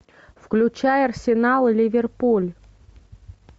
включай арсенал ливерпуль